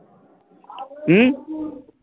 হম